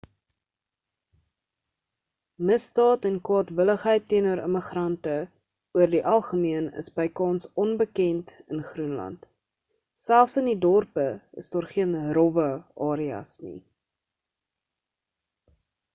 misdaad en kwaadwilligheid teenoor immigrante oor die algemeen is bykans onbekend in groenland selfs in die dorpe is daar geen rowwe areas nie